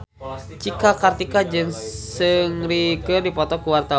Cika Kartika jeung Seungri keur dipoto ku wartawan